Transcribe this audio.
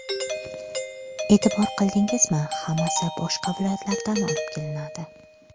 E’tibor qildingizmi, hammasi boshqa viloyatlardan olib kelinadi.